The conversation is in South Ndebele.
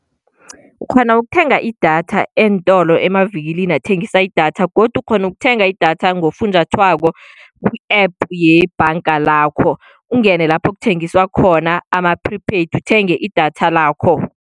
Ukghona ukuthenga idatha eentolo, emavikilini athengisa idatha. Godu ukghona ukuthenga idatha ngofunjathwako ku-App yebhanga lakho, ungene lapho kuthengiswa khona ama-prepaid uthenge idatha lakho.